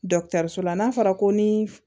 Dɔkitɛriso la n'a fɔra ko ni